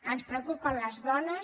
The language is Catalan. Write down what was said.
ens preocupen les dones